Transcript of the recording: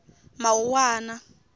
mawuwana